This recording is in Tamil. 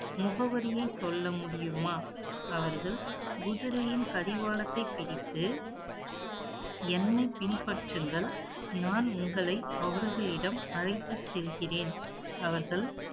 முகவரியை சொல்ல முடியுமா அவர்கள், குதிரையின் கடிவாளத்தை பிடித்து, என்னை பின்பற்றுங்கள். நான் உங்களை, அவர்களிடம் அழைத்துச் செல்கிறேன். அவர்கள்